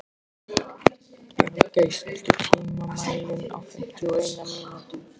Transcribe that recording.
Bjargey, stilltu tímamælinn á fimmtíu og eina mínútur.